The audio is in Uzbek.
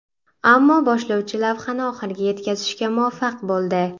Ammo boshlovchi lavhani oxiriga yetkazishga muvaffaq bo‘ldi.